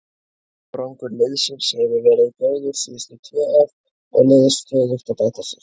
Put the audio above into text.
Árangur liðsins hefur verið góður síðustu tvö ár og liðið stöðugt að bæta sig.